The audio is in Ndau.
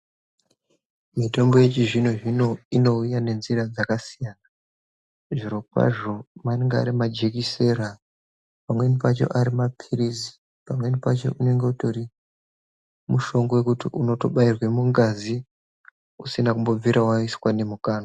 Mitombo yechizvino zvino inouya nenjira dzakasiyana. Zvirokwazvo anenge ari majekiseni, pamweni pacho maphirizi pamweni pacho unenge utori mushonga wekuti unotobairwe mungazi usina kumbobvira waiswe nemukanwa.